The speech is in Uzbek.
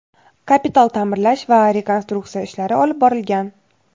kapital ta’mirlash va rekonstruksiya ishlari olib borilgan.